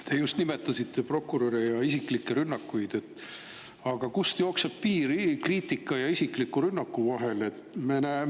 Te just nimetasite prokuröre ja isiklikke rünnakuid, aga kust jookseb piir kriitika ja isikliku rünnaku vahel?